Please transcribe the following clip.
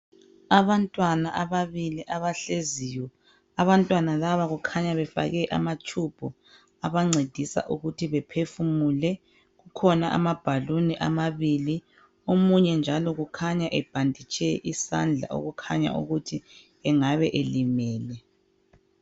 Abantwana ababili abahleziyo. Kukhanya befake amatshubhu abancedisa ukuthi bephefumule. Kukhona amabhaluni amabili. Omunye njalo kukhanya ebhanditshe isandla, okukhanya ukuthi engabe elimele.